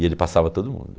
E ele passava todo mundo.